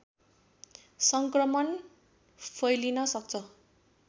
सङ्क्रमण फैलिन सक्छ